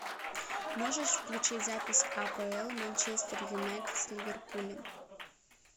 можешь включить запись апл манчестер юнайтед с ливерпулем